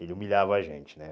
Ele humilhava a gente, né?